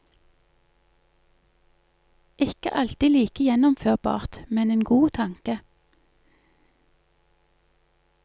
Ikke alltid like gjennomførbart, men en god tanke.